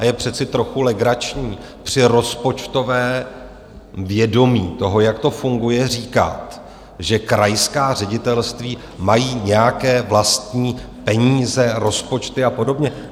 A je přece trochu legrační při rozpočtovém vědomí toho, jak to funguje, říkat, že krajská ředitelství mají nějaké vlastní peníze, rozpočty a podobně.